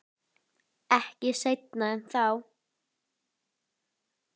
Ekki seinna en þá.